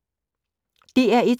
DR1